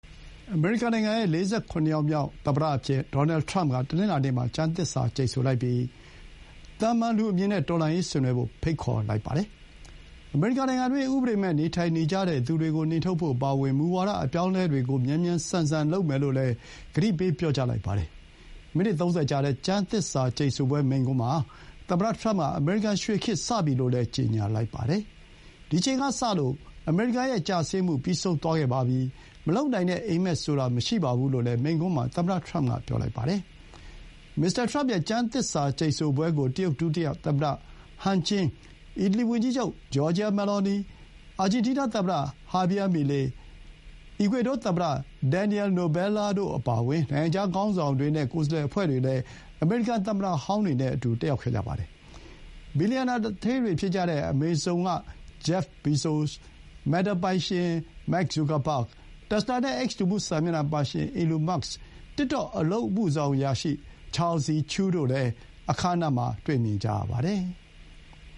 အမေရိကန်နိုင်ငံရဲ့ ၄၇ ယောက်မြောက် သမ္မတအဖြစ် ဒေါ်နယ်ထရမ့်က တနင်္လာနေ့မှာ ကျမ်းသစ္စာ ကျိန်ဆိုလိုက်ပြီး၊ သာမာန်လူအမြင်နဲ့ တော်လှန်ရေးဆင်နွှဲဖို့ ခေါ်သံ ပေးလိုက်ပါတယ်။ အမေရိကန်နိုင်ငံတွင်း ဥပဒေမဲ့ နေထိုင်နေကြတဲ့သူတွေကို နှင်ထုတ်ဖို့ အပါအဝင် မူဝါဒ အပြောင်းအလဲတွေကို မြန်မြန်ဆန်ဆန် လုပ်မယ်လို့လည်း ကတိပေး ပြောကြားသွားပါတယ်။ မိနစ် ၃၀ ကြာတဲ့ ကျမ်းသစ္စာကျိန်ဆိုပွဲ မိန့်ခွန်းမှာ သမ္မတထရမ့်က အမေရိကန် ရွှေခေတ် စပြီလို့လည်း ကြေညာလိုက်ပါတယ်။ ဒီအချိန်ကစပြီး အမေရိကန်ရဲ့ ကျဆင်းမှု ပြီးဆုံးသွားပြီ။ မလုပ်နိုင်တဲ့ အိပ်မက်ဆိုတာ မရှိဘူးလို့လည်း မိန့်ခွန်းမှာ သမ္မတ ထရမ့်က ပြောလိုက်ပါတယ်။ မစ္စတာ ထရမ့် ကျမ်းသစ္စာ ကျိန်ဆိုပွဲကို တရုတ် ဒုတိယသမ္မတ ဟန်ကျင်း Han Zheng၊ အီတလီ ဝန်ကြီးချုပ် Giorgia Meloni အာဂျင်းတီးနား သမ္မတ ဟာဘီယား မီလေး Javier Milei နဲ့ အီကွေဒေါသမ္မတ ဒင်န်နီယယ် နိုဘယ်လာ Daniel Noboa တို့အပါအဝင် နိုင်ငံခြား ခေါင်းဆောင်တွေနဲ့ ကိုယ်စားလှယ်အဖွဲ့တွေလည်း အမေရိကန် သမ္မတဟောင်းတွေနဲ့အတူ တက်ရောက်ခဲ့ကြပါတယ်။ ဘီလီယံနာ သူဌေးတွေ ဖြစ်ကြတဲ့ အမေဇုံ Jeff Bezos၊ မက်တာပိုင်ရှင် မာ့ခ် ဇူကာဘဂ်၊ တက်စလာနဲ့ အိပ်စ် လူမှုစာမျက်နှာ ပိုင်ရှင် ဘီလျံနာသူဌေးကြီး အီလွန်မာ့က်စ်၊ တစ်တော့ အလုပ်အမှုဆောင်အရာရှိ Shou Zi Chew တို့ကိုလည်း အခမ်းအနားမှာ တွေ့မြင်ကြရပါတယ်။